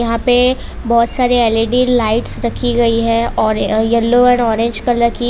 यहां पे बहोत सारे एल_इ_डी लाइट्स रखी गई है य और यल्लो एंड ऑरेंज कलर की --